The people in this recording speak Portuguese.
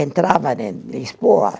Entravam em Lisboa.